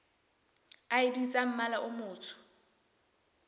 id tsa mmala o motsho